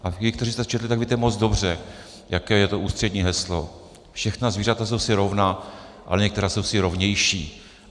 A vy, kteří jste to četli, tak víte moc dobře, jaké je to ústřední heslo: Všechna zvířata jsou si rovná, ale některá jsou si rovnější.